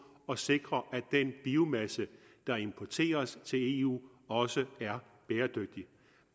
og sikre at den biomasse der importeres til eu også er bæredygtig